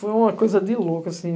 Foi uma coisa de louco, assim.